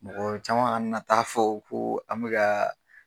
Mɔgɔ caman kana na t'a fɔ ko an bɛka.